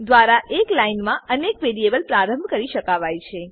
દ્વરા એક લાઈન મા અનેક વેરીએબલ પ્રારંભ કરી શકાવાય છે